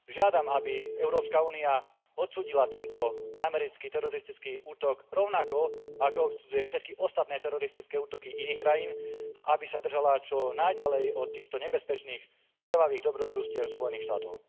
Žiadam, aby Európska únia odsúdila tento americký teroristický útok, rovnako ako odsudzuje všetky ostatné teroristické útoky iných krajín, a aby sa držala čo najďalej od týchto nebezpečných krvavých dobrodružstiev Spojených štátov.